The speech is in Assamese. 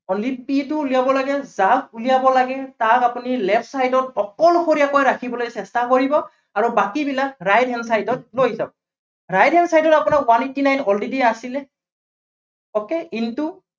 যদি only c টো উলিয়াব লাগে, যাক উলিয়াব লাগে তাক আপুনি left side ত অকলশৰীয়াকৈ ৰাখিবলৈ চেষ্টা কৰিব, আৰু বাকীবিলাক right hand side ত লৈ যাব । right hand side ত আপোনাৰ one eighty nine already আছিলে oka into